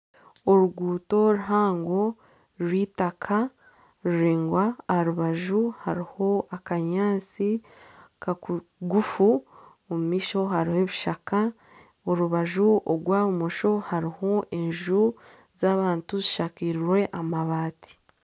Oruguuto ruhango rw'eitaka ruraingwa aha rubaju hariho akanyaatsi kagufu omu maisho hariho ebishaka, orubaju orwa bumosho hariho enju z'abantu zishakirwe amabaati.